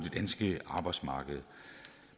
danske arbejdsmarked